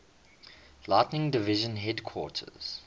lighting division headquarters